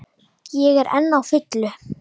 Ég er enn á fullu.